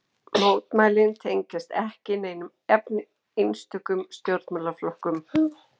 Mótmælin tengjast ekki neinum einstökum stjórnmálaflokkum